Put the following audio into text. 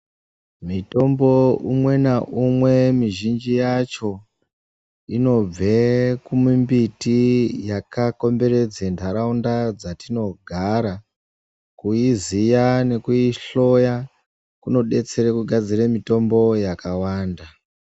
Mitombo umwenaumwe mizhinji yacho inobve kumumbiti yakakomberedze nharaunda dzatinogara kuizira nekuidhloya kunodetsere kugare mitombo yakawanda